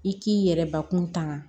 I k'i yɛrɛ bakun tanga